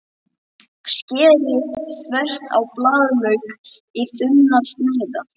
Skerið þvert á blaðlauk í þunnar sneiðar.